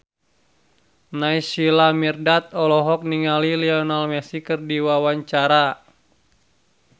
Naysila Mirdad olohok ningali Lionel Messi keur diwawancara